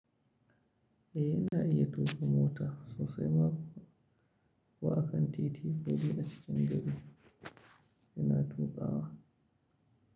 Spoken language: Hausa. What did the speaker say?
Eh ina iya tuƙa mota sosai ma ko a kan titi indai a cikin gari ina tukawa.